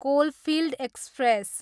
coalfield express